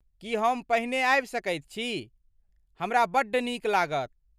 की हम पहिने आबि सकैत छी? हमरा बड्ड नीक लागत।